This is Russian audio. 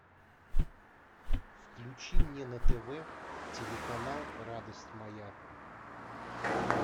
включи мне на тв телеканал радость моя